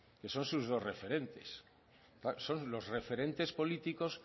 que son sus dos referentes claro son los referentes políticos